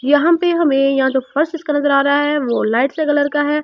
यहाँ पे हमें यहाँ तो फर्स्ट कलर आ रहा है वो लाइट से कलर का है।